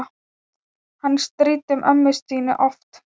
Hann stríddi ömmu Stínu oft.